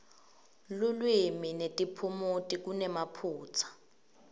lulwimi netiphumuti kunemaphutsa